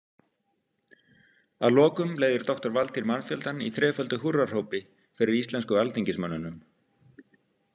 Að lokum leiðir doktor Valtýr mannfjöldann í þreföldu húrrahrópi fyrir íslensku alþingismönnunum.